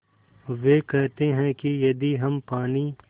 वे कहते हैं कि यदि हम पानी